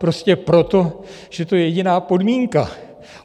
Prostě proto, že to je jediná podmínka.